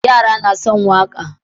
Yara suna son waƙa.